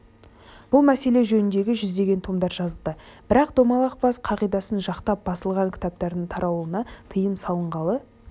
бұл мәселе жөнінде жүздеген томдар жазылды бірақ домалақ бас қағидасын жақтап басылған кітаптардың таралуына тыйым салынғалы